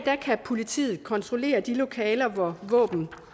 kan politiet kontrollere de lokaler hvor våben